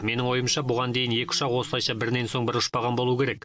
менің ойымша бұған дейін екі ұшақ осылайша бірінен соң бірі ұшпаған болуы керек